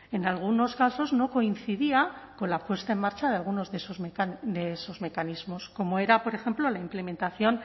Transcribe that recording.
en algunos casos no coincidía con la puesta en marcha de algunos de esos mecanismos como era por ejemplo la implementación